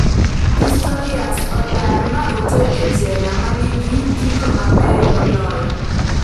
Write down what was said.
Pistorius odar ma oter e jela manigi gigo mabeyo moloyo